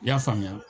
I y'a faamuya